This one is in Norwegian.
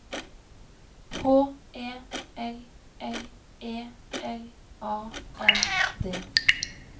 H E L L E L A N D